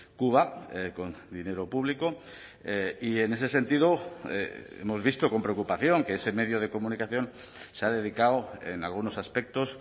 cuba con dinero público y en ese sentido hemos visto con preocupación que ese medio de comunicación se ha dedicado en algunos aspectos